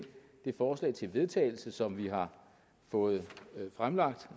forslag til vedtagelse som vi har fået fremlagt